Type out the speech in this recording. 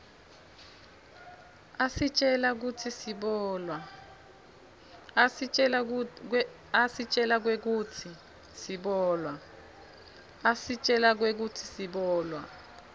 asitjela kwekutsi sibolwa